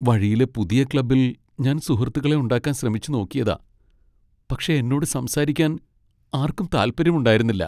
വഴിയിലെ പുതിയ ക്ലബ്ബിൽ ഞാൻ സുഹൃത്തുക്കളെ ഉണ്ടാക്കാൻ ശ്രമിച്ചു നോക്കിയതാ, പക്ഷേ എന്നോട് സംസാരിക്കാൻ ആർക്കും താൽപ്പര്യമുണ്ടായിരുന്നില്ല.